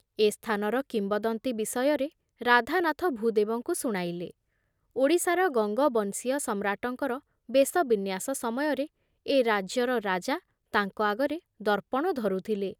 ଏ ସ୍ଥାନର କିମ୍ବଦନ୍ତୀ ବିଷୟରେ ରାଧାନାଥ ଭୂଦେବଙ୍କୁ ଶୁଣାଇଲେ ଯେ ଓଡ଼ିଶାର ଗଙ୍ଗବଂଶୀୟ ସମ୍ରାଟଙ୍କର ବେଶବିନ୍ୟାସ ସମୟରେ ଏ ରାଜ୍ୟର ରାଜା ତାଙ୍କ ଆଗରେ ଦର୍ପଣ ଧରୁଥିଲେ ।